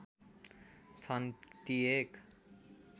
छन् ती एक